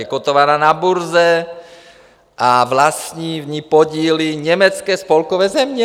Je kotovaná na burze a vlastní v ní podíly německé spolkové země.